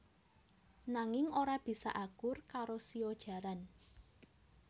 Nanging ora bisa akur karo shio jaran